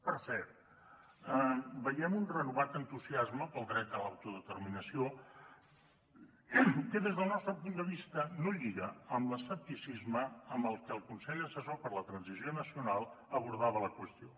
per cert veiem un renovat entusiasme pel dret a l’autodeterminació que des del nostre punt de vista no lliga amb l’escepticisme amb el que el consell assessor per a la transició nacional abordava la qüestió